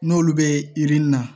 N'olu bɛ yirini na